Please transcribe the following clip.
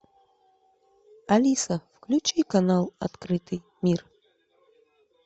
алиса включи канал открытый мир